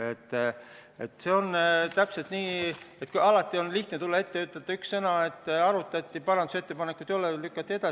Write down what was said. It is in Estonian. Alati on lihtne tulla siia teie ette ja ütelda üks lause: eelnõu arutati, parandusettepanekuid ei ole ja lükati edasi.